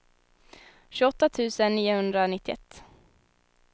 tjugoåtta tusen niohundranittioett